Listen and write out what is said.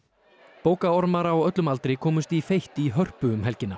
bókaormar á öllum aldri komust í feitt í Hörpu um helgina